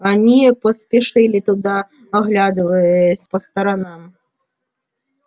они поспешили туда оглядываясь по сторонам